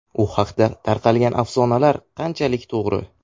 U haqda tarqalgan afsonalar qanchalik to‘g‘ri?